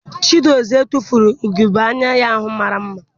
Chiedozie tufuru ugebe anya ya ahụ mara mma.